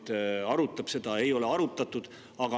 Aga ei ole seda arutanud.